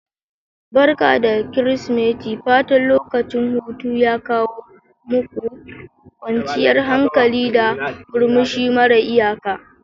Barka da Kirsimeti' fatan lokacin hutu ya kawo muku kwanciyar hankali, da murmushi mara iyaka.